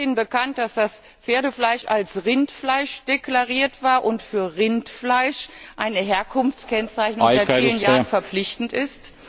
Ist Ihnen bekannt, dass das Pferdefleisch als Rindfleisch deklariert war und für Rindfleisch eine Herkunftskennzeichnung seit vielen Jahren verpflichtend ist?